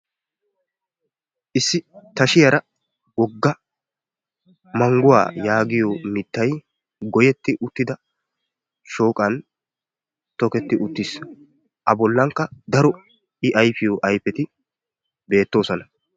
Issi tashiyaara wogga mangguwa yaagiyo mittay goyetti uttida shooqan toketti uttiis. A bollankka daro i ayfiyo ayfetti beettoosona.